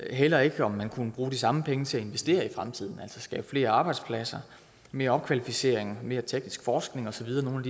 heller ikke om man kunne bruge de samme penge til at investere i fremtiden altså skabe flere arbejdspladser mere opkvalificering mere teknisk forskning og så videre nogle